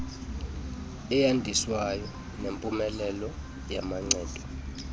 eyandiswayo nempumelelo yamancedo